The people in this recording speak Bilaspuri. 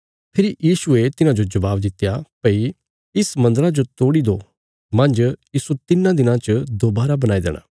फेरी यीशुये तिन्हांजो जबाब दित्या भई इस मन्दरा जो तोड़ी दो मांज इस्सो तिन्नां दिनां च दोबारा बणाई देणा